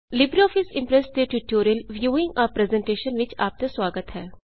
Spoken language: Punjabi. ਲਿਬਰ ਔਫਿਸ ਇਮਪਰੈੱਸ ਦੇ ਟਿਊਟੋਰਿਅਲ ਵਿਯੂਇੰਗ ਏ ਪ੍ਰੈਜ਼ੇਨਟੇਸ਼ਨ ਵਿੱਚ ਆਪ ਦਾ ਸੁਆਗਤ ਹੈ